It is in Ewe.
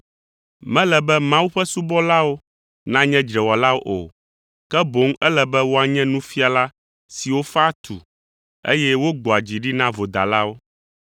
Mele be Mawu ƒe subɔlawo nanye dzrewɔlawo o, ke boŋ ele be woanye nufiala siwo faa tu, eye wogbɔa dzi ɖi na vodalawo.